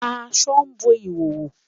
Àṣọ bọ́ ìhòhò.